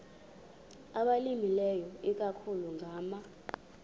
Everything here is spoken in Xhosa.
abalimileyo ikakhulu ngama